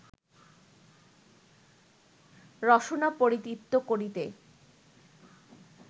রসনা পরিতৃপ্ত করিতে